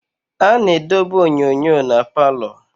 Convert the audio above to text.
A na-edobe onyonyo na palọ.